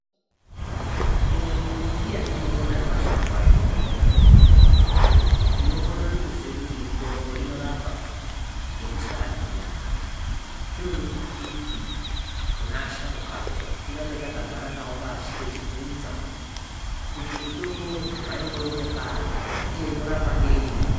Imwe mimbiti yatinoona yemashango atinoona inokona kuziva kuti mitombo inorapa ngekusaziva zvinoda kuti titi Kune asharukwa tigare takagara nawo pashi tichivhunza kuti mitombo waimboiwana pari uye inorapa ndepari.